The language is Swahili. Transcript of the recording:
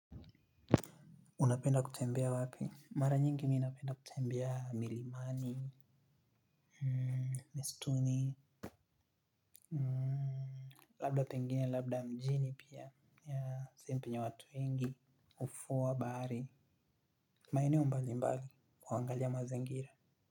Unapenda kutembea wapi? Mara nyingi mimi napenda kutembea milimani, misituni, labda pengine, labda mjini pia, ya si penye watu wengi, ufuo wa bahari, maeneo mbalimbali kuangalia mazingira.